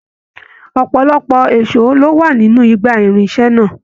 Ọpọlọpọ èsó lo wà nínú igbá irinṣẹ náà.